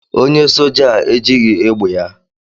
onye soja a ejighi egbe ya